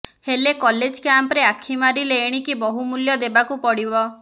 ହେଲେ କଲେଜ୍ କ୍ୟାମ୍ପରେ ଆଖି ମାରିଲେ ଏଣିକି ବହୁ ମୁଲ୍ୟ ଦେବାକୁ ପଡ଼ିବ